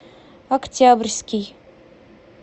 октябрьский